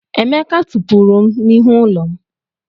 Emeka tụpụrụ m n'ihu ụlọ m.